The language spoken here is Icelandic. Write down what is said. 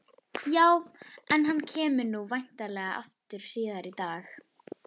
Já, en hann kemur nú væntanlega aftur síðar í dag.